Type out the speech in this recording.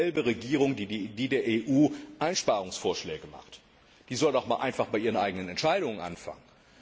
Das ist dieselbe Regierung, die der EU Einsparungsvorschläge macht. Die soll doch mal einfach bei ihren eigenen Entscheidungen anfangen.